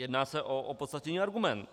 Jedná se o opodstatněný argument.